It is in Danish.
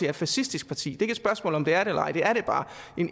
et fascistisk parti det er ikke et spørgsmål om det er det eller ej det er det bare